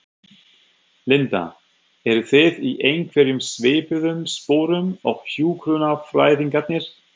Linda: Eru þið í einhverjum svipuðum sporum og hjúkrunarfræðingarnir?